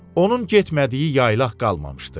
Onun getmədiyi yaylaq qalmamışdı.